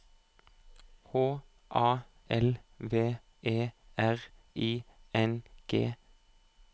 H A L V E R I N G